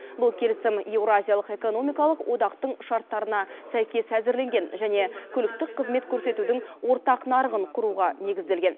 бұл келісім еуразиялық экономикалық одақтың шарттарына сәйкес әзірленген және көліктік қызмет көрсетудің ортақ нарығын құруға негізделген